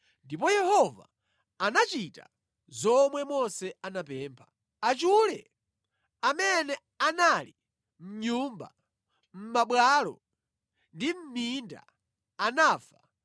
Ndipo Yehova anachita zomwe Mose anapempha. Achule amene anali mʼnyumba, mʼmabwalo ndi mʼminda anafa